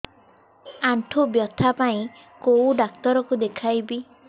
ଆଣ୍ଠୁ ବ୍ୟଥା ପାଇଁ କୋଉ ଡକ୍ଟର ଙ୍କୁ ଦେଖେଇବି